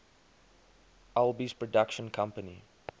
alby's production company